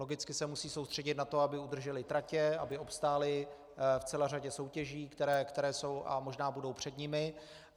Logicky se musí soustředit na to, aby udržely tratě, aby obstály v celé řadě soutěží, které jsou a možná budou před nimi.